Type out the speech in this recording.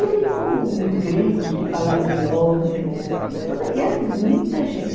E aí com gritos de palavra de ordem, e era muita gente.